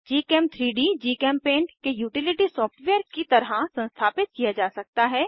gchem3डी जीचेम्पेंट के utility software की तरह संस्थापित किया जा सकता है